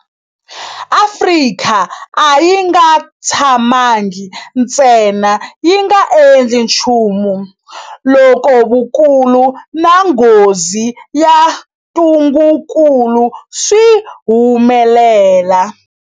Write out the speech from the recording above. Afrika a yi nga tshamangi ntsena yi nga endli nchumu loko vukulu na nghozi ya ntungukulu swi humelela.